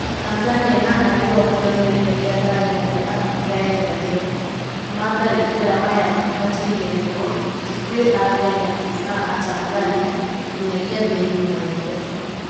Tanzania na arĩ o kĩonereria gĩa thayũ harĩ Afrika ya irathĩro, matharĩkĩra maya matierĩgĩrĩirwo, ti kwĩ a kenya na a tanzania, nginyagia thĩ ng'ima yothe.